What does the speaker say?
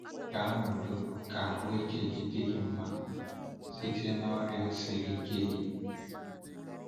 Gaa n’udo, ka ahụike dị gị mma site n’ọrịa siri ike gị.